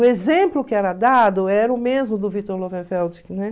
O exemplo que era dado era o mesmo do Victor Lowenfeld, né?